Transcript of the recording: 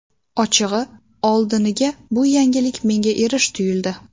Ochig‘i, oldiniga bu yangilik menga erish tuyuldi.